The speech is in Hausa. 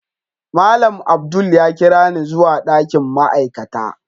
Malam Abdul ya kirani zuwa dakin ma'aikata.